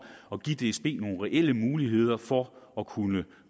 at give dsb nogle reelle muligheder for at kunne